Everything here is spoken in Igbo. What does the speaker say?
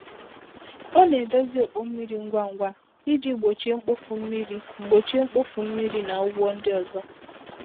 Ọ na-edozi ọkpọ mmiri ngwa ngwa iji gbochie mkpofu mmiri gbochie mkpofu mmiri na ụgwọ ndị ọzọ.